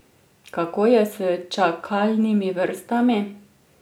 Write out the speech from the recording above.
Kako je s čakalnimi vrstami?